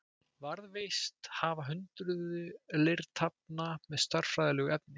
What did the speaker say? Varðveist hafa hundruð leirtaflna með stærðfræðilegu efni.